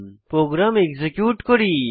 programme execute করি